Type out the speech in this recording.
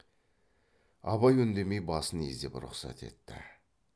абай үндемей басын изеп рұқсат етті